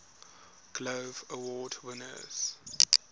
glove award winners